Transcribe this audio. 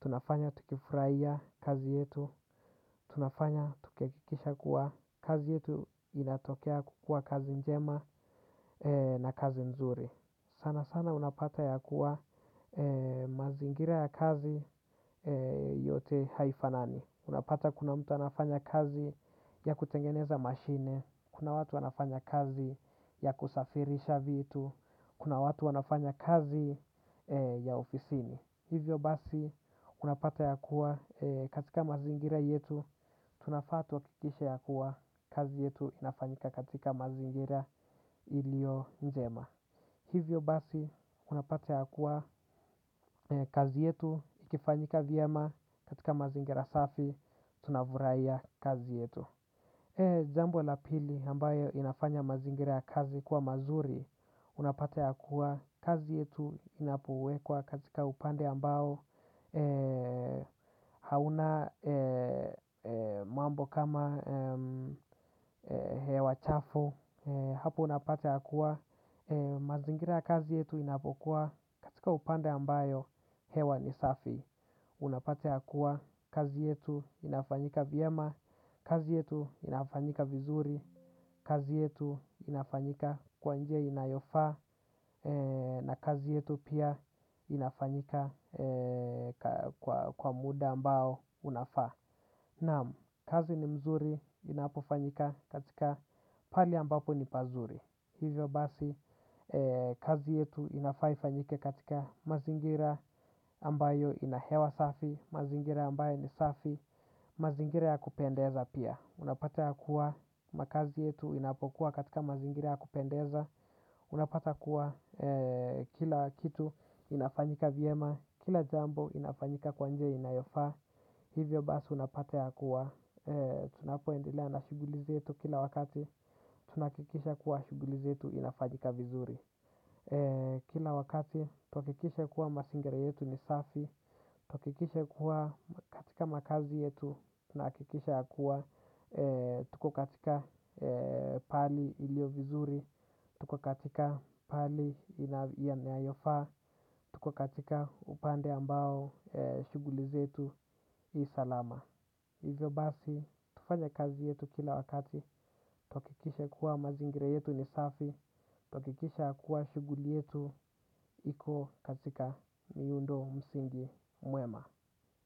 Tunafanya tukifurahia kazi yetu. Tunafanya tukihakikisha kuwa kazi yetu. Inatokea kukua kazi njema na kazi nzuri sana sana unapata ya kuwa mazingira ya kazi yote haifanani. Unapata kuna mtu anafanya kazi ya kutengeneza mashine, kuna watu wanafanya kazi ya kusafirisha vitu, kuna watu wanafanya kazi ya ofisini. Hivyo basi unapata ya kuwa katika mazingira yetu, tunafaa tuhakikishe ya kuwa kazi yetu inafanyika katika mazingira ilio nzema. Hivyo basi, unapata ya kuwa kazi yetu, ikifanyika vyema katika mazingira safi, tunafurahia kazi yetu. Jambo la pili ambayo inafanya mazingira kazi kuwa mazuri, unapata ya kuwa kazi yetu inapowekwa katika upande ambao hauna mambo kama hewa chafu. Hapo unapata ya kuwa, mazingira ya kazi yetu inapokuwa katika upande ambayo hewa ni safi. Unapata ya kuwa, kazi yetu inafanyika vyema, kazi yetu inafanyika vizuri, kazi yetu inafanyika kwa njia inayofaa na kazi yetu pia inafanyika kwa muda ambao unafaa. Naam, kazi ni mzuri inapofanyika katika pali ambapo ni pazuri. Hivyo basi kazi yetu inafaa ifanyike katika mazingira ambayo inahewa safi. Mazingira ambayo ni safi. Mazingira ya kupendeza pia. Unapata ya kuwa makazi yetu inapokuwa katika mazingira ya kupendeza. Unapata kuwa kila kitu inafanyika vyema. Kila jambo inafanyika kwa njia inayofaa. Hivyo basi unapata ya kuwa tunapoendelea na shuguli zetu kila wakati. Tunahakikisha kuwa shuguli zetu inafanyika vizuri. Kila wakati tuhakikishe kuwa masingira yetu ni safi. Tuhakikishe kuwa katika makazi yetu. Tunahakikisha kuwa tuko katika pahali ilio vizuri. Tuko katika pahali inayofaa. Tuko katika upande ambao shuguli zetu salama. Hivyo basi, tufanye kazi yetu kila wakati, tuhakikishe kuwa mazingira yetu ni safi, tuhakikishe ya kuwa shuguli yetu iko katika miundo msingi mwema.